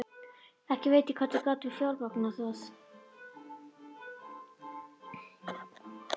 Ekki veit ég hvernig við gátum fjármagnað það.